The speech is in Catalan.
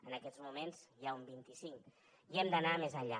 en aquests moments n’hi ha un vint i cinc i hem d’anar més enllà